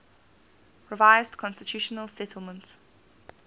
revised constitutional settlement